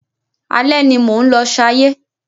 Alẹ́ ni mò ń lọ ṣayé.